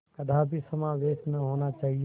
कदापि समावेश न होना चाहिए